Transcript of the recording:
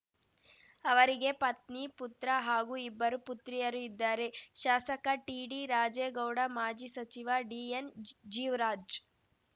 ಅವರಿಗೆ ಪತ್ನಿ ಪುತ್ರ ಹಾಗೂ ಇಬ್ಬರು ಪುತ್ರಿಯರು ಇದ್ದಾರೆ ಶಾಸಕ ಟಿಡಿ ರಾಜೇಗೌಡ ಮಾಜಿ ಸಚಿವ ಡಿಎನ್‌ ಜೀ ಜೀವರಾಜ್‌